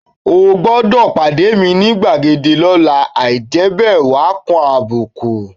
O gbọdọ̀ pàdé mi ni gbàgede lọ́la, àì jẹ́ bẹ́ẹ̀ wàá kan àbùkù